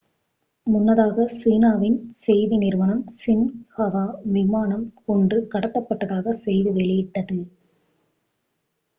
முன்னதாக சீனாவின் செய்தி நிறுவனம் சின்ஹுவா விமானம் ஒன்று கடத்தப்பட்டதாக செய்தி வெளியிட்டது